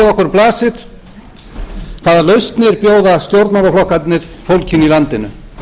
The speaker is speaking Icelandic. bjóða stjórnmálaflokkarnir fólkinu í landinu við ættum að vera að